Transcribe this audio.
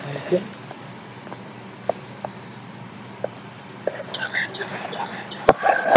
ਬੈਠ ਜਾ, ਬੈਠ ਜਾ, ਬੈਠ ਜਾ।